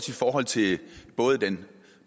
i forhold til både den